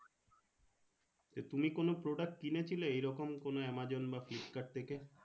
তুমি কোনো product কিনেছিলে এইরকম কোনো আমাজন বা ফ্লিপকার্ড থেকে?